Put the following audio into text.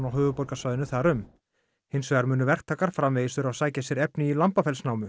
höfuðborgarsvæðinu þar um hins vegar munu verktakar framvegis þurfa að sækja sér efni í